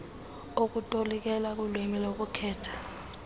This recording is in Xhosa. okutolikela kulwimi lokuthetha